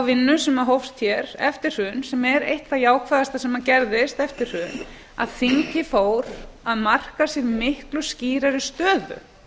vinnu sem hófst hér eftir hrun sem er eitt það jákvæðasta sem gerðist eftir hrun að þingið fór að marka sér miklu skýrari stöðu